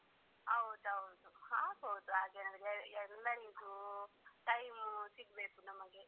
ಹೌದು ಹೌದು ಆಗ್ಬಹುದು ಹಾಗೇನಾದ್ರೂ ಎಲ್ಲರಿಗೂ time ಸಿಗ್ಬೇಕು ನಮಗೆ.